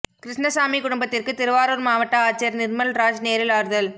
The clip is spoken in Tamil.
கிருஷ்ணசாமி குடும்பத்திற்கு திருவாரூர் மாவட்ட ஆட்சியர் நிர்மல் ராஜ் நேரில் ஆறுதல்